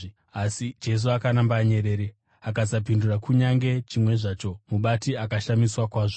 Asi, Jesu akaramba anyerere, akasapindura kunyange chimwe zvacho, mubati akashamiswa kwazvo.